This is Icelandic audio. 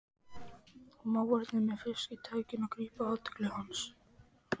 Mávarnir með fiski-tægjuna grípa athygli hans.